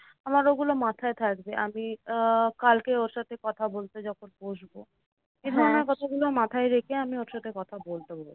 আমার ওগুলো মাথায় থাকবে। আমি আহ কালকে ওর সাথে কথা বলতে যখন বসবো। এইধরণের কথাগুলো মাথায় রেখে আমি ওর সাথে কথা বলতে বসবো।